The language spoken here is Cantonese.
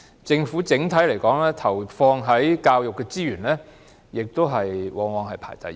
政府整體投放到教育的資源，往往也是排第一位。